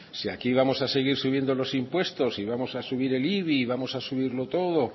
si aquí vamos a seguir subiendo los impuestos y vamos a subir el ibi y vamos a subirlo todo